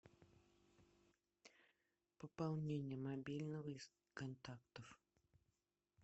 пополнение мобильного из контактов